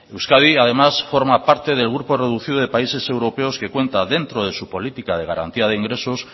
euskadi además forma parte del grupo reducido de países europeos que cuenta dentro de su política de garantía de ingresos